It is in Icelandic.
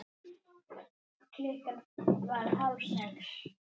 Klukkan varð hálf sex.